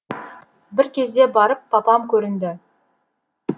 бір кезде барып папам көрінді